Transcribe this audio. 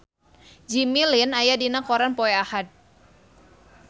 Jimmy Lin aya dina koran poe Ahad